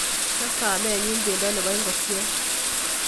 Kachop kamenyu pendo nebo ingokiet